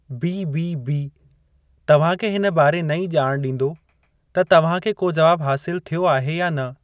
BBB तव्हांखे हिन बारे नईं ॼाण ॾींदो त तव्हांखे को जवाबु हासिलु थियो आहे या न।